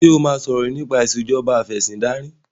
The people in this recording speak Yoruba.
ṣe o má sọrọ nipa Ìṣèjọba Afẹ̀sìndarí?